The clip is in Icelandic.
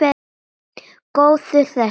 Góður þessi!